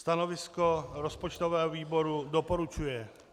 Stanovisko rozpočtového výboru - doporučuje.